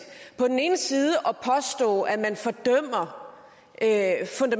på den ene side at påstå at at